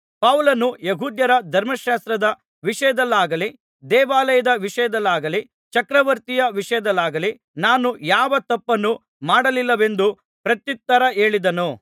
ಪೌಲನು ಯೆಹೂದ್ಯರ ಧರ್ಮಶಾಸ್ತ್ರದ ವಿಷಯದಲ್ಲಾಗಲಿ ದೇವಾಲಯದ ವಿಷಯದಲ್ಲಾಗಲಿ ಚಕ್ರವರ್ತಿಯ ವಿಷಯದಲ್ಲಾಗಲಿ ನಾನು ಯಾವ ತಪ್ಪನ್ನೂ ಮಾಡಲಿಲ್ಲವೆಂದು ಪ್ರತ್ಯುತ್ತರ ಹೇಳಿದನು